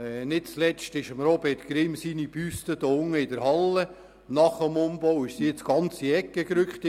Nicht zuletzt wurde die Büste von Robert Grimm unten in der Halle nach dem Umbau ganz in die Ecke gerückt.